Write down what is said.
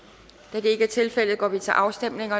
da det ikke er tilfældet går vi til afstemning